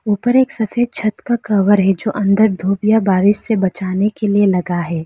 ऊपर एक सफेद छत का कवर है जो अंदर धूप या बारिश से बचाने के लिए लगा है।